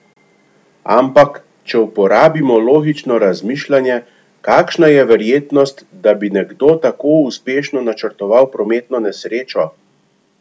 Ampak, če uporabimo logično razmišljanje, kakšna je verjetnost, da bi nekdo tako uspešno načrtoval prometno nesrečo?